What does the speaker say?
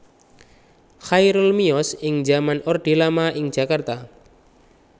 Chairul miyos ing zaman orde lama ing Jakarta